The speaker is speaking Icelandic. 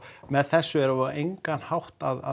með þessu erum við á engan hátt að